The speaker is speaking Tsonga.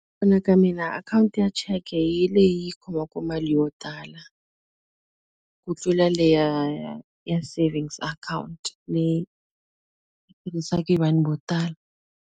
Ku vona ka mina akhawunti ya cheke hi leyi yi khomaka mali yo tala, ku tlula le ya ya ya savings account. Leyi yi tirhisiwaka hi vanhu vo tala.